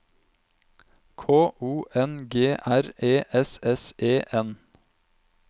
K O N G R E S S E N